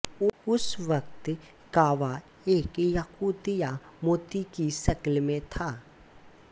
उस वक़्त काबा एक याक़ूत या मोती की शक्ल में था